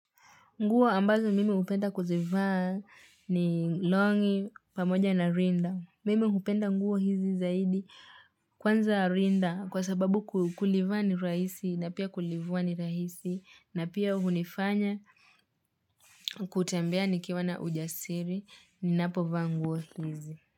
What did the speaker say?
Nguo ambazo mimi hupenda kuzivaa ni longi pamoja na rinda. Mimi hupenda nguo hizi zaidi kwanza rinda kwa sababu kulivaa ni rahisi na pia kulivua ni rahisi na pia hunifanya kutembea nikiwa na ujasiri ninapovaa nguo hizi.